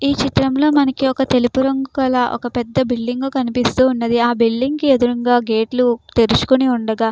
ఈ చిత్రంలోమనకి ఒక తెలుపు రంగు గల ఒక పెద్ద బిల్డింగ్ కనిపిస్తుంది ఆ బిల్డింగ్ ఎదురుగా గేట్లు తెరుచుకొని ఉండగా --